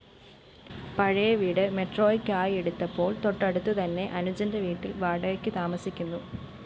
പഴയ വീട് മെട്രോയ്ക്കായെടുത്തപ്പോള്‍ തൊട്ടടുത്തുതന്നെ അനുജന്റെ വീട്ടില്‍ വാടകയ്ക്കു താമസിക്കുന്നു